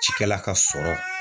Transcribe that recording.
Cikɛla ka sɔrɔ